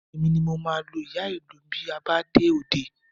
Èmi ni mo máa lu ìyá-ìlù bí a bá dé òde